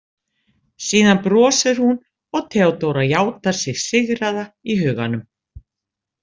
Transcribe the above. Síðan brosir hún og Theodóra játar sig sigraða í huganum.